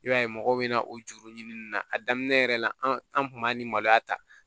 I b'a ye mɔgɔw bɛ na o juru ɲini na a daminɛ yɛrɛ la an an kun b'a ni maloya ta